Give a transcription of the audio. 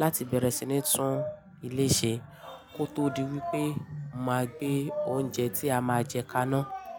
láti bẹ̀rẹ̀ sí ní tún ilé ṣe kó tó di wípé màá gbé oúnjẹ tí a máa jẹ kaná.